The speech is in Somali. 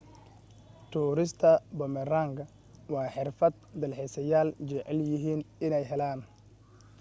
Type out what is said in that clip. tuurista boomerang waa xirfad dalxiisayaal jecel yihiin inay helaan